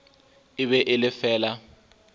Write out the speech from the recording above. e be e le fela